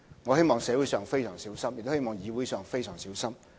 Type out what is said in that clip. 我希望社會非常小心，亦希望議會非常小心。